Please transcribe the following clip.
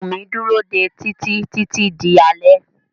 Wùmí dúró dé Títí títí di alé.